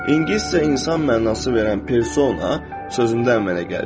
İngiliscə insan mənası verən persona sözündə əmələ gəlib.